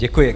Děkuji.